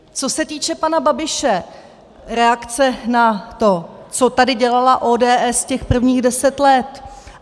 Co se týče pana Babiše, reakce na to, co tady dělala ODS těch prvních deset let.